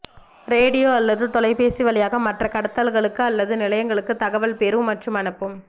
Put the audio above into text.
radio அல்லது தொலைபேசி வழியாக மற்ற கடத்தல்களுக்கு அல்லது நிலையங்களுக்கு தகவல் பெறும் மற்றும் அனுப்பும்